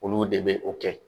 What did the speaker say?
Olu de be o kɛ